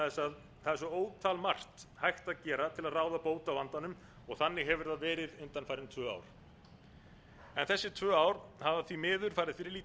að það er svo ótal margt hægt að gera til að ráða bót á vandanum þannig hefur það verið undanfarin tvö ár þessi tvö ár hafa því miður farið fyrir